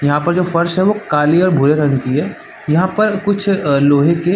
यहाँ पर जो फर्श है वो काली और भूरे रंग की हैं यहाँ पर कुछ अ लोहे के--